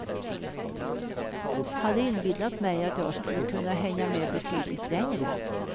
Hade inbillat mig att jag skulle kunna hänga med betydligt längre.